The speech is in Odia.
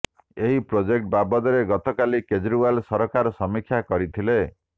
ଏହି ପ୍ରୋଜେକ୍ଟ ବାବଦରେ ଗତକାଲି କେଜ୍ରିୱାଲ ସରକାର ସମୀକ୍ଷା କରିଥିଲେ